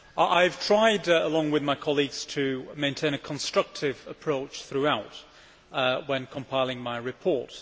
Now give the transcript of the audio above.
I have tried along with my colleagues to maintain a constructive approach throughout when compiling my report.